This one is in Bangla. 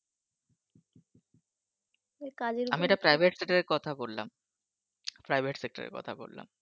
ওই কাজের আমি এটা Private Sector র কথা বললাম Private Sector র কথা বললাম।